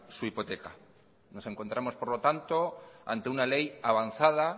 su hipoteca nos encontramos por lo tanto ante una ley avanzada